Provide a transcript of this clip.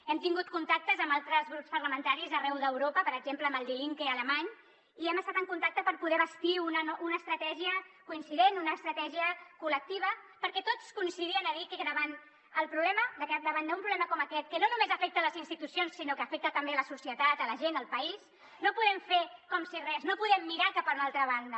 hem tingut contactes amb altres grups parlamentaris arreu d’europa per exemple amb el die linke alemany i hi hem estat en contacte per poder bastir una estratègia coincident una estratègia col·lectiva perquè tots coincidien a dir que davant el problema davant d’un problema com aquest que no només afecta les institucions sinó que afecta també la societat la gent el país no podem fer com si res no podem mirar cap a una altra banda